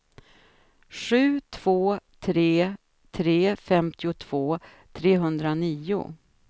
sju två tre tre femtiotvå trehundranio